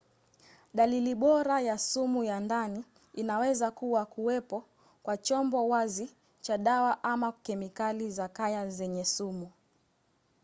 dalili bora ya sumu ya ndani inaweza kuwa kuwepo kwa chombo wazi cha dawa ama kemikali za kaya zenye sumu